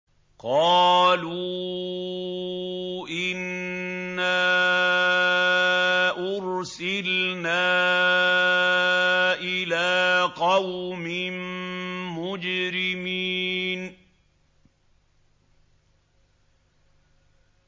قَالُوا إِنَّا أُرْسِلْنَا إِلَىٰ قَوْمٍ مُّجْرِمِينَ